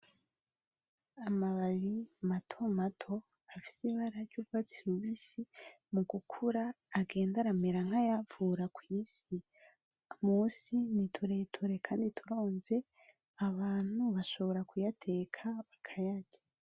Amababi matomato afise ibara ry’urwatsi rubisi, mu gukura agenda aramera nk’ayavura kw’isi , munsi ni tureture Kandi turonze, abantu bashobora kuyateka bakayarya.